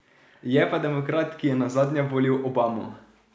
Je pa demokrat, ki je nazadnje volil Obamo.